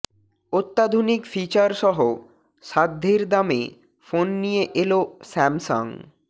অত্যাধুনিক ফিচার সহ সাধ্যের দামে ফোন নিয়ে এল স্যামসাং